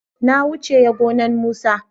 na wuce ya gonan musa